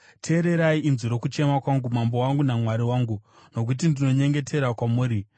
Teererai inzwi rokuchema kwangu, Mambo wangu naMwari wangu, nokuti ndinonyengetera kwamuri.